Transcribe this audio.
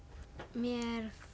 mér